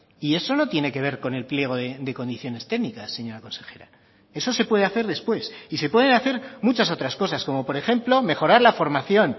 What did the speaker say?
y eso no tiene que ver con el pliego de condiciones técnicas señora consejera eso se puede hacer después y se pueden hacer muchas otras cosas como por ejemplo mejorar la formación